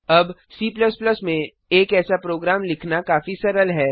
अब C में एक ऐसा प्रोग्राम लिखना काफी सरल है